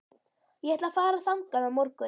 Ég ætla að fara þangað á morgun.